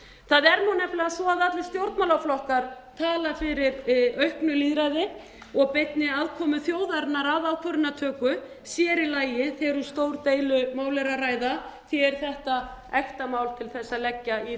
nefnilega svo að allir stjórnmálaflokkar tala fyrir auknu lýðræði og beinni aðkomu þjóðarinnar að ákvörðunartöku sér í lagi þegar um stór deilumál er að ræða því er þetta ekta mál til að leggja í